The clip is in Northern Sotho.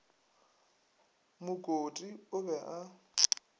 mo kote o be a